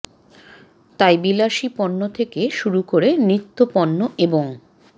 তাই বিলাসী পণ্য থেকে শুরু করে নিত্য পণ্য এবং